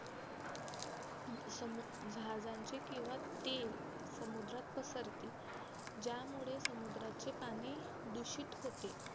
समूजहाजांचे किंवा तेल समुद्रात पसरते ज्यामुळे समुद्राचे पाणी दुषित होते